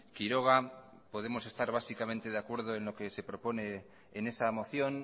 quiroga podemos estar básicamente de acuerdo en lo que se propone en esa moción